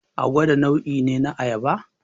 Agada nau'i ne na Ayaba